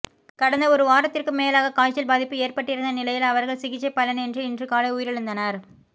கடந்த ஒரு வாரத்திற்கு மேலாக காய்ச்சல் பாதிப்பு ஏற்பட்டிருந்த நிலையில் அவர்கள் சிகிச்சை பலனின்றி இன்று காலை உயிரிழந்தனர்